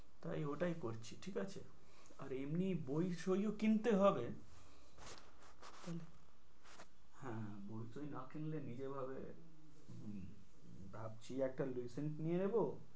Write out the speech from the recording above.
তাই ওটাই করছি ঠিক আছে। আর এমনি বই সইও কিনতে হবে, হ্যাঁ বই টই না কিনলে নিজ ভাবে ভাবছি একটা লুসেন্ট নিয়ে নেবো।